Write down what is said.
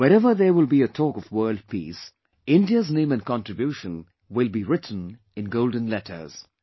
Wherever there will be a talk of world peace, India's name and contribution will be written in golden letters